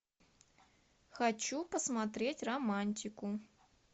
хочу посмотреть романтику